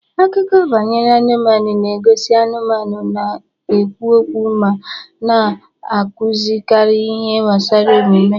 Akụkọ banyere anụmanụ na-egosi anụmanụ na-ekwu okwu ma na-akụzikarị ihe gbasara omume.